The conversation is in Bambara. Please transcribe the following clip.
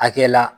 Akɛ la